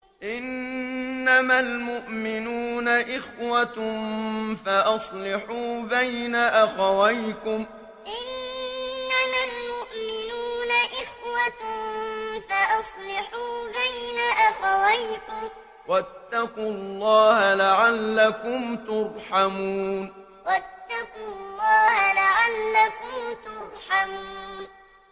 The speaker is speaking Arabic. إِنَّمَا الْمُؤْمِنُونَ إِخْوَةٌ فَأَصْلِحُوا بَيْنَ أَخَوَيْكُمْ ۚ وَاتَّقُوا اللَّهَ لَعَلَّكُمْ تُرْحَمُونَ إِنَّمَا الْمُؤْمِنُونَ إِخْوَةٌ فَأَصْلِحُوا بَيْنَ أَخَوَيْكُمْ ۚ وَاتَّقُوا اللَّهَ لَعَلَّكُمْ تُرْحَمُونَ